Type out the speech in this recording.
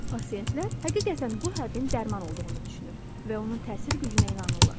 Pasiyentlər həqiqətən bu həbbin dərman olduğunu düşünür və onun təsir gücünə inanırlar.